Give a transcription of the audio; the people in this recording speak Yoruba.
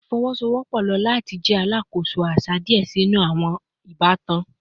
Ifowosowopo lo lati jẹ alakoso aṣa diẹ sii ninu awọn ibatan